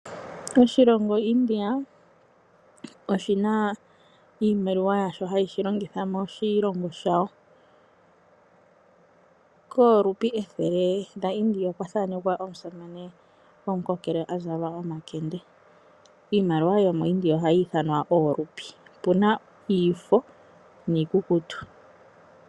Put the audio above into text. Oshilongo India oshina iimaliwa yasho hayi shilongitha moshilongo shawo, koRumbi 100 lyaIndia okwa thanekwa omusamane gomukokele azala omakende. Iimaliwa yomo India ohayi ithanwa oRumbi opuna yomafo niikukutu.